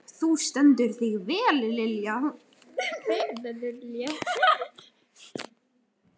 Þú stendur þig vel, Lilja!